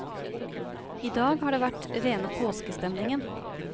I dag har det vært rene påskestemningen.